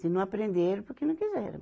Se não aprenderam, porque não quiseram.